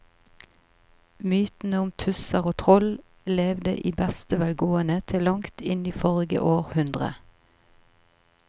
Mytene om tusser og troll levde i beste velgående til langt inn i forrige århundre.